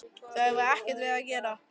Þau hafa ekkert við það að gera